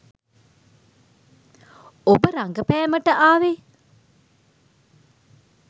ඔබ රඟපෑමට ආවේ